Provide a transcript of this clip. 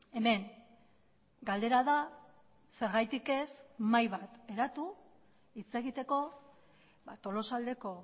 hemen galdera da zergatik ez mahai bat eratu hitz egiteko tolosaldeko